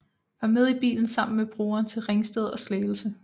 Var med i bilen sammen med broren til Ringsted og Slagelse